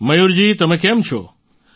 મયૂરજી તમે કેમ છો